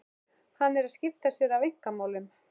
Hann er að skipta sér af einkamálum